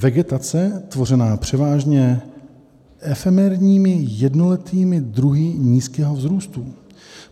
Vegetace tvořená převážně efemérními jednoletými druhy nízkého vzrůstu.